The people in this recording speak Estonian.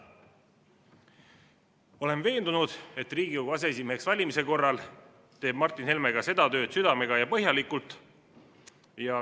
Olen veendunud, et Riigikogu aseesimeheks valimise korral teeb Martin Helme ka seda tööd südamega ja põhjalikult.